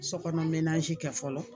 Sokɔnɔ kɛ fɔlɔ